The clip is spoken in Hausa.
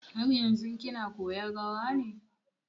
Har yanzun kina koyan rawan ne?